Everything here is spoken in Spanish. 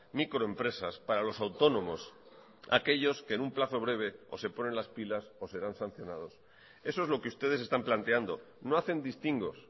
microempresas para los autónomos aquellos que en un plazo breve o se ponen las pilas o serán sancionados eso es lo que ustedes están planteando no hacen distingos